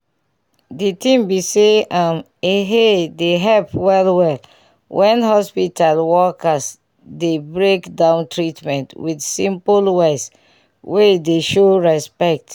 d tin be say um eehe dey help wellwell when hospital workers dey break down treatment with simple words wey dey show respect.